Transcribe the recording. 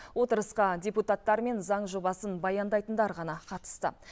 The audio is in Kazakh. отырысқа депутаттар мен заң жобасын баяндайтындар ғана қатысты